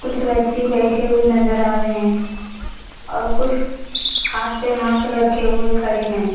कुछ व्यक्ति बैठे हुए नजर आ रहे हैं और कुछ हाथ पे हाथ रखे हुए खड़े हैं।